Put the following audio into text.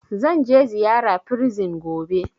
Zanje ziyara prison gobe